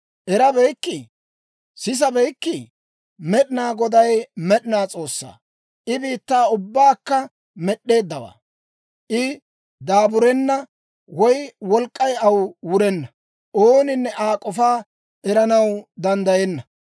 Erabeykkii? Sisabeykkii? Med'inaa Goday med'inaa S'oossaa; I biittaa ubbaakka med'd'eeddawaa. I daaburenna; woy wolk'k'ay aw wurenna; ooninne Aa k'ofaa eranaw danddayenna.